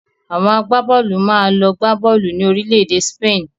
Awọn àgbábọ́ọ̀lù máa lọ gbá bọ́ọ̀lù ni Orílẹ̀-èdè Spain